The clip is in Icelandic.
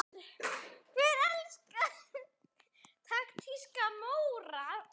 Hver elskar ekki taktíska Móra?